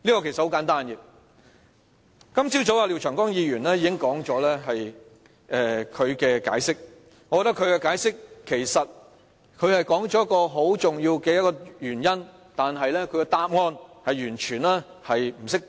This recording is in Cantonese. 很簡單，今早廖長江議員已作解釋，雖然他說出一個很重要的原因，但他的答案卻完全不適當。